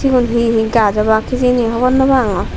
sigun hihi gaaj obaak hijeni hobor naw pangor.